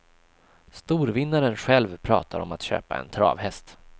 Storvinnaren själv pratar om att köpa en travhäst.